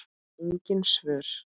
Ég fékk engin svör.